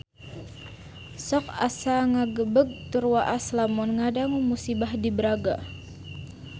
Sok asa ngagebeg tur waas lamun ngadangu musibah di Braga